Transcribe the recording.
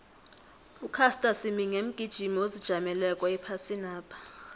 ucaster semenya mgijimi ozijameleko ephasinapha